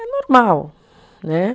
É normal, né?